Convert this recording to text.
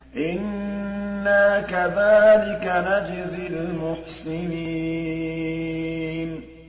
إِنَّا كَذَٰلِكَ نَجْزِي الْمُحْسِنِينَ